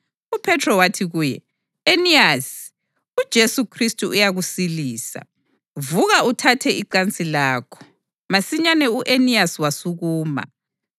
UPhethro wathi kuye, “Eniyasi, uJesu Khristu uyakusilisa. Vuka uthathe icansi lakho.” Masinyane u-Eniyasi wasukuma.